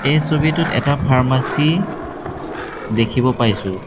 এই ছবিটোত এটা ফাৰ্মাছী দেখিব পাইছোঁ।